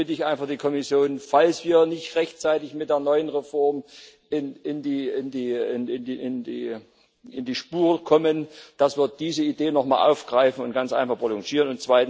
Hier bitte ich einfach die Kommission, falls wir nicht rechtzeitig mit der neuen Reform in die Spur kommen, dass wir diese Idee noch mal aufgreifen und ganz einfach prolongieren.